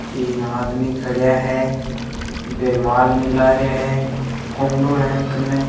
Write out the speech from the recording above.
तीन आदमी खडया हैं बे माल मिला रहिया हैं कुंडों है कने।